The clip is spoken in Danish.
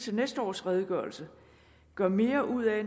næste års redegørelse gør mere ud af